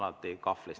Ma olen alati kahvlis.